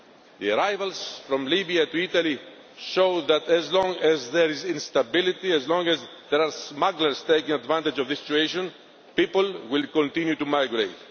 The arrivals from Libya to Italy show that as long as there is instability, as long as there are smugglers taking advantage of this situation, people will continue to migrate.